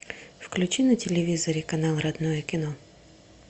включи на телевизоре канал родное кино